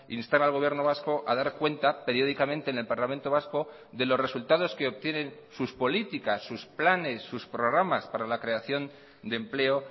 instar al gobierno vasco a dar cuenta periódicamente en el parlamento vasco de los resultados que obtienen sus políticas sus planes sus programas para la creación de empleo